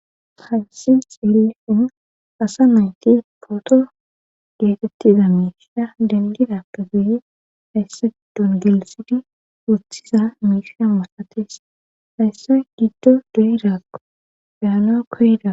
haysi xeelhun asa nayti pooto geetettiza miisha dengida ka guye hayssa giddun gelisidi woththiza miisha masates hayssa giddo duyiraako beano koyida